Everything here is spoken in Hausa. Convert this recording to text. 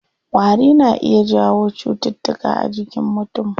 Ƙwari na iya jawo cutuka a jinkin mutum.